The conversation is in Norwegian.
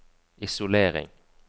isolering